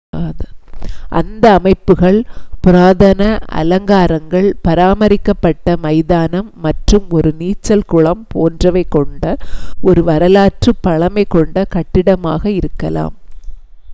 அந்த அமைப்புகள் புராதன அலங்காரங்கள் பாராமரிக்கப் பட்ட மைதானம் மற்றும் ஒரு நீச்சல் குளம் போன்றவை கொண்ட ஒரு வரலாற்றுப் பழமை கொண்ட கட்டிடமாக இருக்கலாம்